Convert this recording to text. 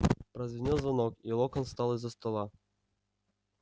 прозвенел звонок и локонс встал из-за стола